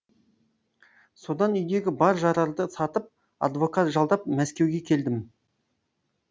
содан үйдегі бар жарарды сатып адвокат жалдап мәскеуге келдім